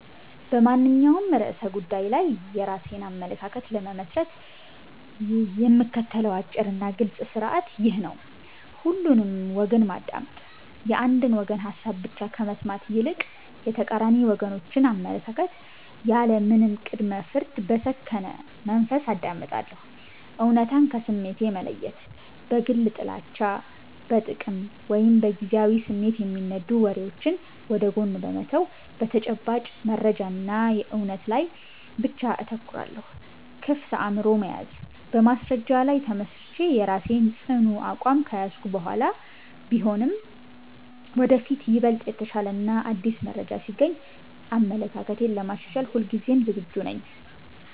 በማንኛውም ርዕሰ ጉዳይ ላይ የራሴን አመለካከት ለመመስረት የምከተለው አጭርና ግልጽ ሥርዓት ይህ ነው፦ ሁሉንም ወገን ማዳመጥ፦ የአንድን ወገን ሐሳብ ብቻ ከመስማት ይልቅ፣ የተቃራኒ ወገኖችን አመለካከት ያለምንም ቅድመ-ፍርድ በሰከነ መንፈስ አዳምጣለሁ። እውነታን ከስሜት መለየት፦ በግል ጥላቻ፣ በጥቅም ወይም በጊዜያዊ ስሜት የሚነዱ ወሬዎችን ወደ ጎን በመተው፣ በተጨባጭ መረጃና እውነት ላይ ብቻ አተኩራለሁ። ክፍት አእምሮ መያዝ፦ በማስረጃ ላይ ተመስርቼ የራሴን ጽኑ አቋም ከያዝኩ በኋላም ቢሆን፣ ወደፊት ይበልጥ የተሻለና አዲስ መረጃ ሲገኝ አመለካክቴን ለማሻሻል ሁልጊዜም ዝግጁ ነኝ።